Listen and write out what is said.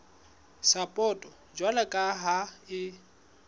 sapoto jwalo ka ha e